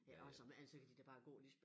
Ja og som alt så kan de da bare gå ligesom